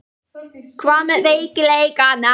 Hvað með veikleikana?